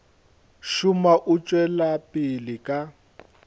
šoma o tšwela pele ka